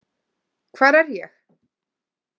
Hvar er ég?